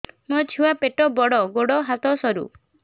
ମୋ ଛୁଆ ପେଟ ବଡ଼ ଗୋଡ଼ ହାତ ସରୁ